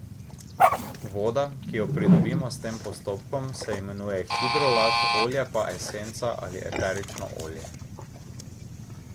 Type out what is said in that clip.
Voda, ki jo pridobimo s tem postopkom, se imenuje hidrolat, olje pa esenca ali eterično olje.